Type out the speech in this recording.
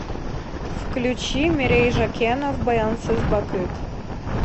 включи мерей жакенов баянсыз бакыт